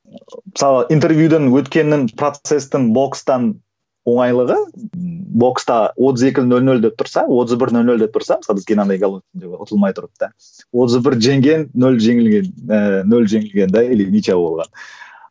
ы мысалға интервьюден өткеннің процестің бокстан оңайлығы бокста отыз екі нөл нөл деп тұрса отыз бір нөл нөл деп тұрса мысалы бізге геннадий головкин ұтылмай тұрып та отыз бір жеңген нөл жеңілген ііі нөл жеңілген де или ничья болған